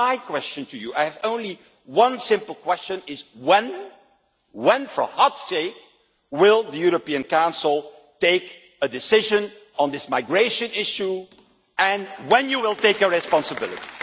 So my question to you I have only one simple question is when for God's sake will the European Council take a decision on this migration issue, and when will you take responsibility?